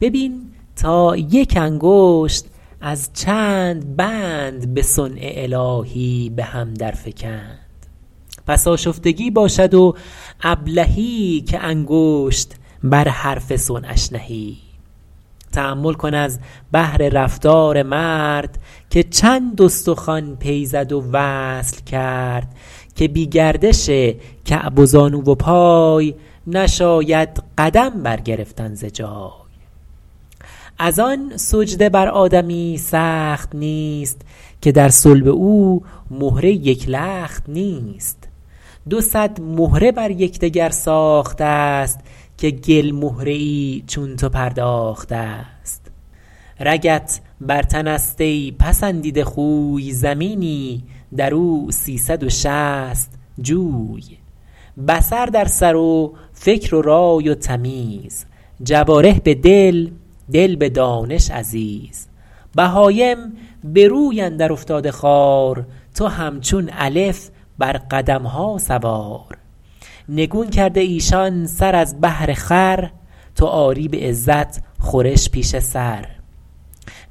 ببین تا یک انگشت از چند بند به صنع الهی به هم در فگند پس آشفتگی باشد و ابلهی که انگشت بر حرف صنعش نهی تأمل کن از بهر رفتار مرد که چند استخوان پی زد و وصل کرد که بی گردش کعب و زانو و پای نشاید قدم بر گرفتن ز جای از آن سجده بر آدمی سخت نیست که در صلب او مهره یک لخت نیست دو صد مهره بر یکدگر ساخته ست که گل مهره ای چون تو پرداخته ست رگت بر تن است ای پسندیده خوی زمینی در او سیصد و شصت جوی بصر در سر و فکر و رای و تمیز جوارح به دل دل به دانش عزیز بهایم به روی اندر افتاده خوار تو همچون الف بر قدمها سوار نگون کرده ایشان سر از بهر خور تو آری به عزت خورش پیش سر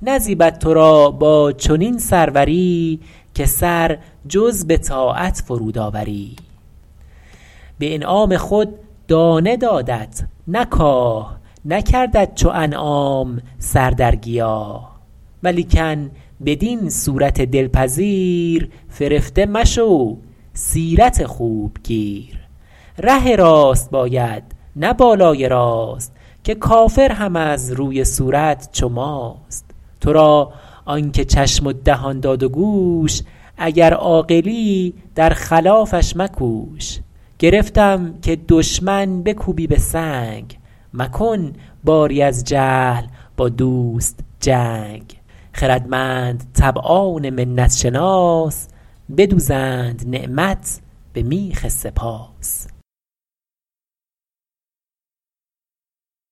نزیبد تو را با چنین سروری که سر جز به طاعت فرود آوری به انعام خود دانه دادت نه کاه نکردت چو انعام سر در گیاه ولیکن بدین صورت دلپذیر فرفته مشو سیرت خوب گیر ره راست باید نه بالای راست که کافر هم از روی صورت چو ماست تو را آن که چشم و دهان داد و گوش اگر عاقلی در خلافش مکوش گرفتم که دشمن بکوبی به سنگ مکن باری از جهل با دوست جنگ خردمند طبعان منت شناس بدوزند نعمت به میخ سپاس